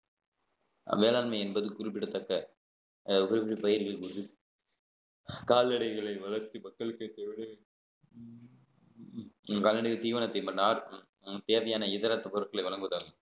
வேளாண்மை என்பது குறிப்பிடத்தக்க அஹ் பயிர்கள் கால்நடைகளை வளர்த்து மக்களுக்கு கால்நடை தீவனத்தை மன்னார் தேவையான இதர பொருட்களை வழங்குதல்